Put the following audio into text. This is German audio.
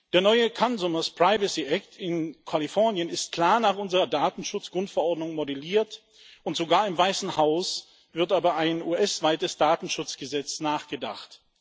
Der neue Consumers Privacy Act in Kalifornien ist klar nach unserer Datenschutz Grundverordnung modelliert, und sogar im Weißen Haus wird über ein US weites Datenschutzgesetz nachgedacht.